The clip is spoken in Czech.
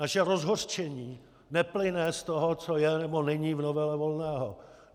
Naše rozhořčení neplyne z toho, co je nebo není v novele Volného.